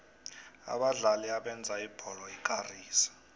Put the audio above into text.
abadlali abenza ibholo ikarise